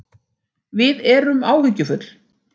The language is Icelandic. Við erum áhyggjufull